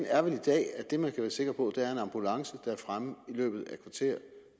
er vel i dag at det man kan være sikker på er en ambulance der er fremme i løbet af et kvarter